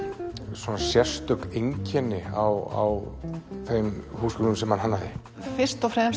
sérstök einkenni á þeim húsgögnum sem hann hannaði fyrst og fremst